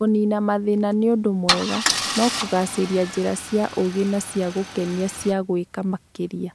Kũniina mathĩna nĩ ũndũ mwega, no gũcaria njĩra cia ũũgĩ na cia gũkenia cia gwĩka makĩria,